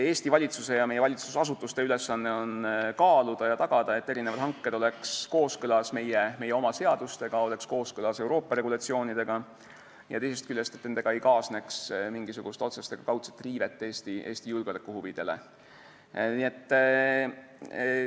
Eesti valitsuse ja meie valitsusasutuste ülesanne on kaaluda ja tagada, et hanked oleksid kooskõlas meie oma seadustega ja Euroopa regulatsioonidega ning et teisest küljest ei kaasneks nendega mingisugust otsest ega kaudset Eesti julgeolekuhuvide riivet.